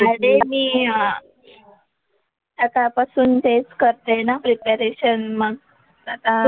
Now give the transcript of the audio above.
अरे मी आता बसून तेच करतेय ना प्रिपरेशन मग, आता,